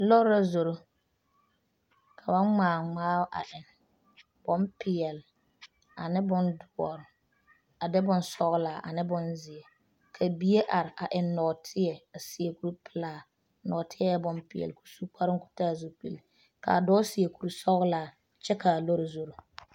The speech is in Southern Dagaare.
Lɔre la zoro ka ba ŋmaa ŋmaao a eŋ bonpeɛle ane bondoɔre a de bonsɔglaa a ne bonzeɛ ka bie are a eŋ nɔɔteɛ a seɛ kuripelaa nɔɔteɛ bonpeɛle k,o su kparoo k,o taa zupili k,a dɔɔ seɛ kurisɔglaa kyɛ k,a lɔre zoro.